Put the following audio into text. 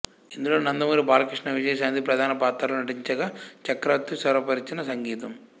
ఇందులో నందమూరి బాలకృష్ణ విజయశాంతి ప్రధాన పాత్రల్లో నటించగా చక్రవర్తి స్వరపరిచిన సంగీతం